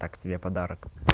так себе подарок